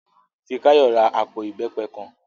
Fikáyọ̀ ra àpò ìbẹ́pẹ kan